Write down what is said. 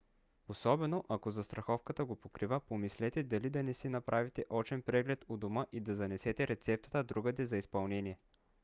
особено ако застраховката го покрива помислете дали да не си направите очен преглед у дома и да занесете рецептата другаде за изпълнение